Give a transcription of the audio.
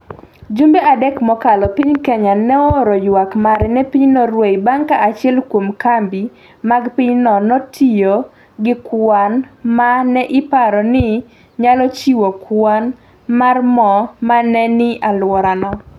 Jumbe adek mokalo, piny Kenya nooro ywak mare ne piny Norway bang’ ka achiel kuom kambi mag pinyno notiyo gi kwan ma ne iparo ni nyalo chiwo kwan mar mo ma ne ni e alworano.